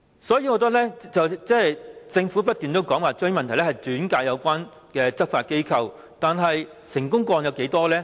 雖然政府重申會把問題轉介有關執法機關，但成功個案有多少宗呢？